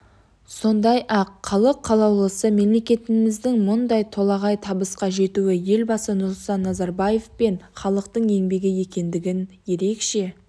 сондай-ақ халық қалаулысы мемлекетіміздің мұндай толағай табысқа жетуі елбасы нұрсұлтан назарбаев пен халықтың еңбегі екендігін ерекше